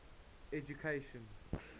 education